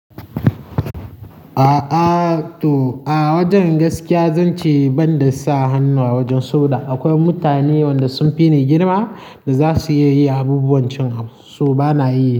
A'a to a wajen gaskiya zan ce banda sa hannu a wajen sabo da akwai mutane wanda sun fi ni girma da za su iya yi abubuwan cen so bana iya.